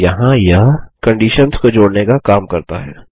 और यहाँ यह कंडिशन्स को जोड़ने का काम करता है